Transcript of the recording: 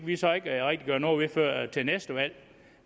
vi så ikke rigtig gøre noget ved før til næste valg